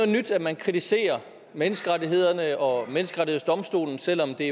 nyt at man kritiserer menneskerettighederne og menneskerettighedsdomstolen selv om det